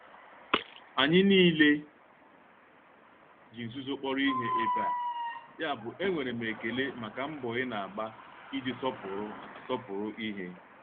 Anyị niile ji nzuzo kpọrọ ihe ebe a, yabụ enwere m ekele maka mbọ ị na-agba iji sọpụrụ sọpụrụ ihe.